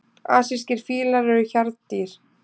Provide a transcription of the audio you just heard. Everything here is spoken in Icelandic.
Asískir fílar eru hjarðdýr.